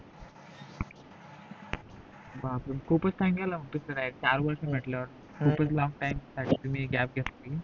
ब्बाप्रे म्हणजे खूपच time गेला चार वर्ष म्हटल्यावर खूपच long time तुम्ही gap घेतली